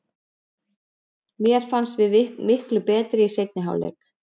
Mér fannst við bara miklu betri í seinni hálfleik.